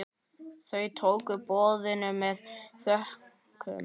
Þau tóku boðinu með þökkum.